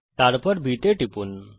এবং তারপর বিন্দু B তে টিপুন